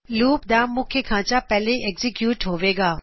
loop ਦਾ ਮੁੱਖ ਖਾੰਚਾ ਪਹਿਲੇ ਐਗਜ਼ੀਕਯੂਟ ਹੋਵੇਗਾ